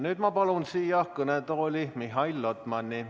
Nüüd ma palun siia kõnetooli Mihhail Lotmani.